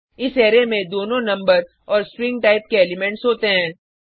इस अरै में दोनों नम्बर और स्ट्रिंग टाइप के एलिमेंट्स होते हैं